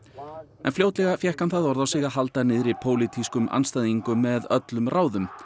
en fljótlega fékk hann það orð á sig að halda niðri pólitískum andstæðingum með öllum ráðum